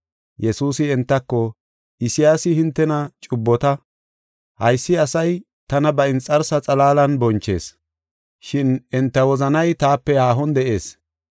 Yesuusi entako, “Isayaasi hintena cubbota, “ ‘Haysi asay tana ba inxarsa xalaalan bonchees, shin enta wozanay taape haahon de7ees.